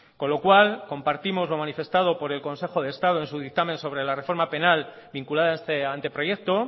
con lo cual compartimos lo manifestado por el consejo de estado en su dictamen sobre la reforma penal vinculada a este anteproyecto